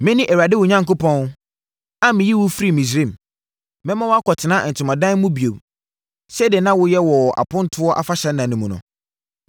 “Mene Awurade wo Onyankopɔn, a meyii wo firii Misraim. Mɛma woakɔtena ntomadan mu bio sɛdeɛ na woyɛ wɔ wʼapontoɔ afahyɛ nna mu no.